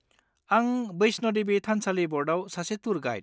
आं बैष्ण' देबि थानसालि ब'र्डआव सासे टुर गाइड।